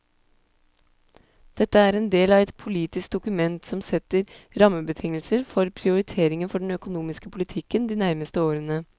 Dette er en del av et politisk dokument som setter rammebetingelser for prioriteringer for den økonomiske politikken de nærmeste årene.